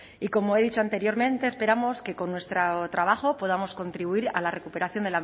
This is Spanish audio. y como he dicho anteriormente esperamos que con nuestro trabajo podamos contribuir a la recuperación